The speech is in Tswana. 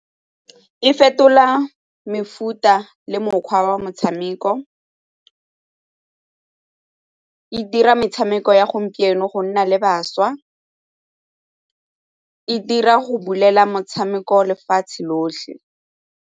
E fetola mefuta le mokgwa wa motshameko, e dira metshameko ya gompieno go nna le bašwa, e dira go bulela motshameko lefatshe lotlhe.